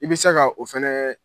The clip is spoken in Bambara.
I bɛ se ka o fɛnɛ